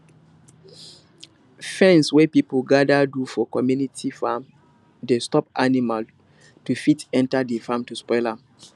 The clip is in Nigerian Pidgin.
fence wey people gather do for community farm dey stop animal to fit enter de farm to spoil am